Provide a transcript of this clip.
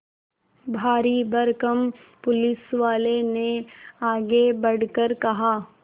भारीभरकम पुलिसवाले ने आगे बढ़कर कहा